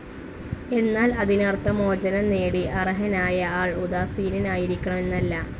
എന്നാൽ അതിനർത്ഥം, മോചനംനേടി അർഹതനായ ആൾ ഉദാസീനനായിരിക്കണം എന്നല്ല.